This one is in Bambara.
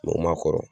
Mɛ u ma kɔrɔ